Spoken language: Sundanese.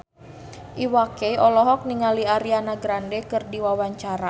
Iwa K olohok ningali Ariana Grande keur diwawancara